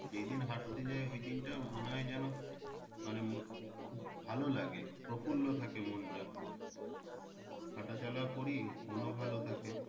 যেই দিন হাঁটতে যাই ওই দিনটা মনে হয় যেন মানে খুব ভালো লাগে প্রফুল্ল থাকে মনটা হাঁটা চলাও করি মনও ভালো থাকে।